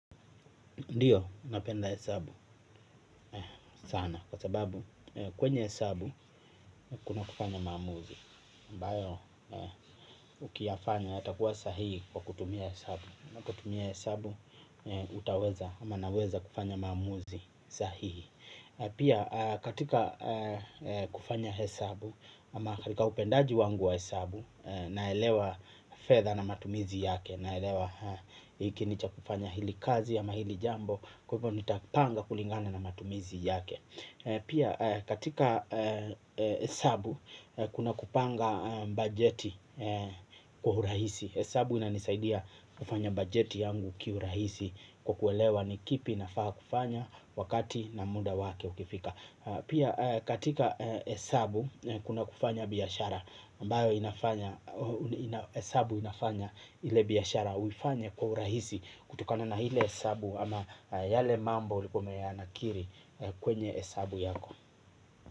Ndiyo, napenda hesabu sana kwa sababu kwenye hesabu kuna kufanya maamuzi ambayo ukiyafanya yatakuwa sahihi kwa kutumia hesabu. Utaweza ama naweza kufanya maamuzi sahihi. Pia, katika kufanya hesabu au katika upendaji wangu wa hesabu, naelewa fedha na matumizi yake. Naelewa hiki ni cha kufanya hili, kwa jambo fulani nitapanga kulingana na matumizi yake. Pia, katika hesabu kuna kupanga bajeti kwa urahisi. Kwa hiyo, hesabu inanisaidia kupanga bajeti yangu kwa urahisi na kuelewa ni kipi kinafaa kufanya wakati muda wake ukifika. Pia, katika hesabu kuna kufanya biashara, ambayo inafanya biashara iwe rahisi kwa kutumia hesabu au yale mambo uliyoyaandika kwenye hesabu yako.